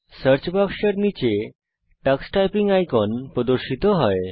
search বাক্সের নীচে Tux typing icon প্রদর্শিত হয়